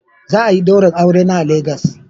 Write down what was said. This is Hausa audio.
Za a yi daurin aure na a Legas